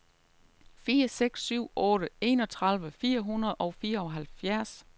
fire seks syv otte enogtredive fire hundrede og fireoghalvfjerds